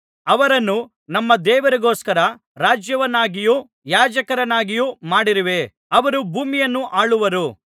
ಅವರನ್ನು ನಮ್ಮ ದೇವರಿಗೋಸ್ಕರ ರಾಜ್ಯವನ್ನಾಗಿಯೂ ಯಾಜಕರನ್ನಾಗಿಯೂ ಮಾಡಿರುವೆ ಅವರು ಭೂಮಿಯನ್ನು ಆಳುವರು